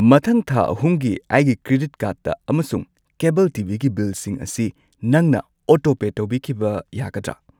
ꯃꯊꯪ ꯊꯥ ꯑꯍꯨꯝꯒꯤ ꯑꯩꯒꯤ ꯀ꯭ꯔꯦꯗꯤꯠ ꯀꯥꯔꯗ ꯑꯃꯁꯨꯡ ꯀꯦꯕꯜ ꯇꯤ ꯚꯤ ꯒꯤ ꯕꯤꯜꯁꯤꯡ ꯑꯁꯤ ꯅꯪꯅ ꯑꯣꯇꯣꯄꯦ ꯇꯧꯕꯤꯈꯤꯕ ꯌꯥꯒꯗ꯭ꯔ?